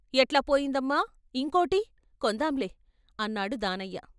ఎట్లా పోయిందమ్మా ఇంకోటి, కొందాంలే అన్నాడు దానయ్య.